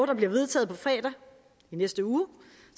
der bliver vedtaget på fredag i næste uge